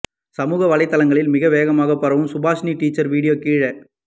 சமூக வலைத்தளங்களில் மிக வேகமாக பரவும் சுபாஷினி டீச்சர் வீடியோ கீழே